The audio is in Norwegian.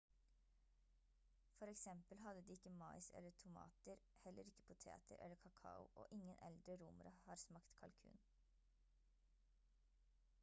for eksempel hadde de ikke mais eller tomater heller ikke poteter eller kakao og ingen eldre romere har smakt kalkun